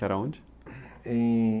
Que era onde? Em